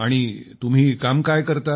आणि तुम्ही काम काय करता